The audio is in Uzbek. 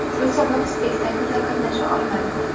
Shu sabab, spektaklda qatnasha olmadim.